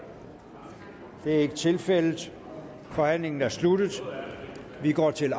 det er ikke tilfældet forhandlingen er sluttet vi går til